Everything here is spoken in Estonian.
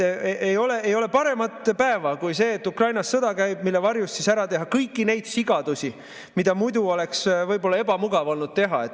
Ei ole paremat päeva kui see, mil Ukrainas sõda käib, mille varjus ära teha kõiki neid sigadusi, mida muidu oleks võib-olla olnud ebamugav teha.